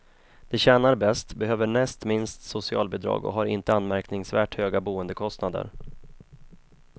De tjänar bäst, behöver näst minst socialbidrag och har inte anmärkningsvärt höga boendekostnader.